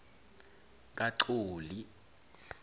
kaxoli